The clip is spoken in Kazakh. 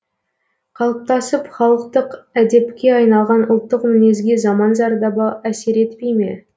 қалыптасып халықтық әдепке айналған ұлттық мінезге заман зардабы әсер етпей ме